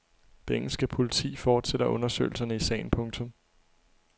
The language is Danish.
Det engelske politi fortsætter undersøgelserne i sagen. punktum